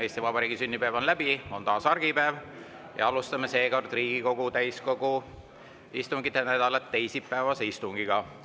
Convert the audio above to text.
Eesti Vabariigi sünnipäev on läbi, on taas argipäev ja alustame seekord Riigikogu täiskogu istungite nädalat teisipäevase istungiga.